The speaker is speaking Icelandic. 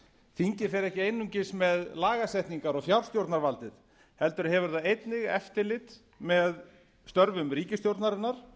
þingið fer ekki einungis með lagasetningar og fjárstjórnarvaldið heldur hefur það einnig eftirlit með störfum ríkisstjórnarinnar